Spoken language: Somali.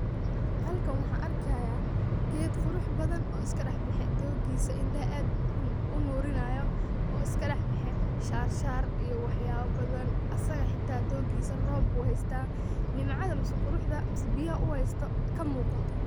Halkan waxaan arkihyaa geed qurux badhan oo iskadaxbexe doogisa indaha aad unurinayo oo iskadaxbeye shashaar iyo waxyaabo badhan asiga hataa doogisa roob buu hysa nimcadha mise quruxda mise biyaha uu haysto kamuuqata.